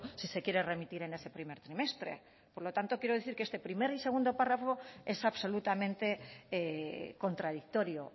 si se quiere remitir en ese primer trimestre por lo tanto quiero decir que este primer y segundo párrafo es absolutamente contradictorio